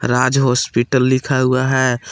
राज hospital लिखा हुआ है।